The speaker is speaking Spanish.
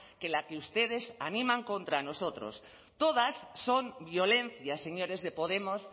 que la que ustedes animan contra nosotros todas son violencias señores de podemos